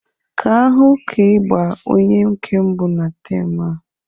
Kaa ahụ ka ị gbaa onye nke mbụ na taam.